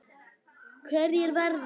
Hverjir verða?